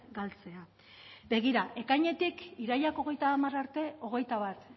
galtzea begira ekainetik irailak hogeita hamar arte hogeita bat